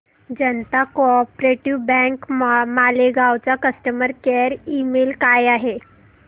जनता co-op bank Malegaon चा customer care email काय आहे